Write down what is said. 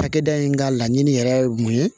Cakɛda in ka laɲini yɛrɛ ye mun ye